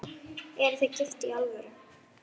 Eruð þið gift í alvöru?